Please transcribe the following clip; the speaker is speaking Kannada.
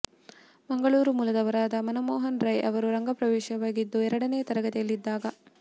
ಮಂಗಳೂರು ಮೂಲದವರಾದ ಮನಮೋಹನ್ ರೈ ಅವರ ರಂಗಪ್ರವೇಶವಾಗಿದ್ದು ಎರಡನೇ ತರಗತಿಯಲ್ಲಿ ಇದ್ದಾಗ